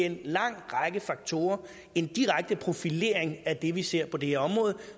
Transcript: en lang række faktorer en direkte profilering af det vi ser på det her område